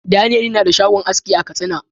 "Daniel " yana da shagon aski a katsina.